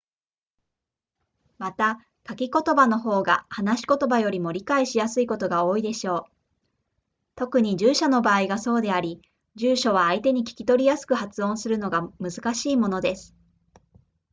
また書き言葉の方が話し言葉よりも理解しやすいことが多いでしょう特に住所の場合がそうであり住所は相手に聞き取りやすく発音するのが難しいものです